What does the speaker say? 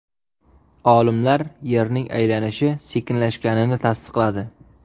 Olimlar Yerning aylanishi sekinlashganini tasdiqladi.